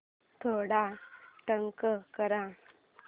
थोडा डार्क कर